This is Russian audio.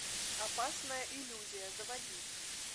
опасная иллюзия заводи